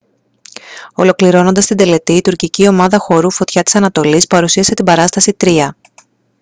ολοκληρώνοντας την τελετή η τουρκική ομάδα χορού φωτιά της ανατολής παρουσίασε την παράσταση «τροία»